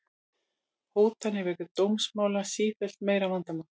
Hótanir vegna dómsmála sífellt meira vandamál